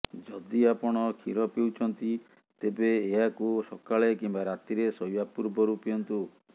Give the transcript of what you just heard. ଯଦି ଆପଣ କ୍ଷୀର ପିଉଛନ୍ତି ତେବେ ଏହାକୁ ସକାଳେ କିମ୍ବା ରାତିରେ ଶୋଇବା ପୂର୍ବରୁ ପିଅନ୍ତୁ